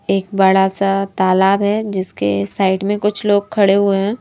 एक बड़ा सा तालाब है जिसके साइड में कुछ लोग खड़े हुए हैं।